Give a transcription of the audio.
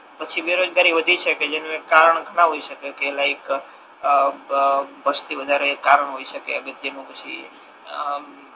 પછી બેરોજગારી વધી શકે જેનુ એક કારણ ઘણા હોય શકે કે લાઇક આ બ વસ્તીવધારો એક કારણ હોય શકે અગત્ય નુ પછી